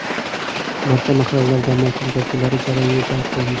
Barcha mahallalar, jamoatchilik vakillari jarayonga jalb qilindi.